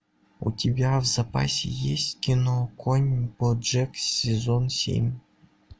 у тебя в запасе есть кино конь боджек сезон семь